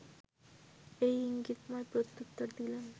এর ‘ইঙ্গিতময় প্রত্যুত্তর’ দিলেন